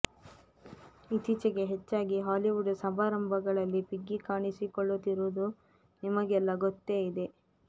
ಇತ್ತೀಚೆಗೆ ಹೆಚ್ಚಾಗಿ ಹಾಲಿವುಡ್ ಸಮಾರಂಭಗಳಲ್ಲಿ ಪಿಗ್ಗಿ ಕಾಣಿಸಿಕೊಳ್ಳುತ್ತಿರುವುದು ನಿಮಗೆಲ್ಲಾ ಗೊತ್ತೇ ಇದೆ